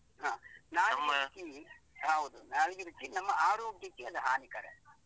ಹಾ ನಾಲಿಗೆ ರುಚಿ ಹಾ ಹೌದು ನಾಲಿಗೆ ರುಚಿ ನಮ್ಮ ಆರೋಗ್ಯಕ್ಕೆ ಅದು ಹಾನಿಕಾರಕ.